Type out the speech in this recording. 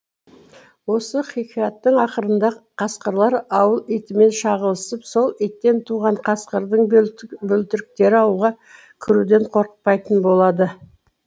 осы хикаяттың ақырында қасқырлар ауыл итімен шағылысып сол иттен туған қасқырдың бөлтіріктері ауылға кіруден қорықпайтын болады